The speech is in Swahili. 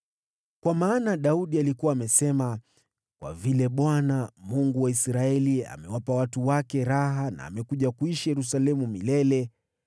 Kwa maana Daudi alikuwa amesema, “Kwa vile Bwana , Mungu wa Israeli amewapa watu wake raha na amekuja kuishi Yerusalemu milele,